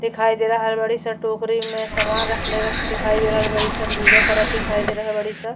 दिखाई दे रहल बाडीस। टोकड़ी में सामन रखले रख दिखाई दे रहल बाडीस। पूजा करत दिखाई दे रहल बाड़ीस।